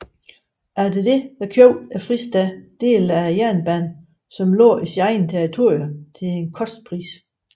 Efter det købte Fristaten dele af jernbanen som lå i eget territorium til kostpris